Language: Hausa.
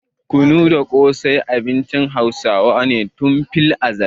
Kunu da ƙosai shi ma abincin Hausawa ne tun filazal.